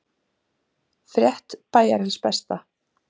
Frétt Bæjarins Besta